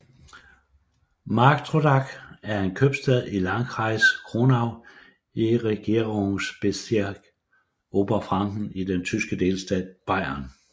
Marktrodach er en købstad i Landkreis Kronach i Regierungsbezirk Oberfranken i den tyske delstat Bayern